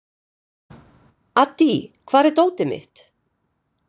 Addý, hvar er dótið mitt?